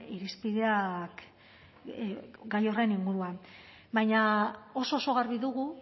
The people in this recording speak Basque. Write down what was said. irizpideak gai horren inguruan baina oso oso garbi dugu